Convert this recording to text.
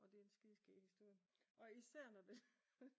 Og det er en skideskæg historie og især når det